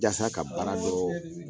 Yasa ka baara dɔ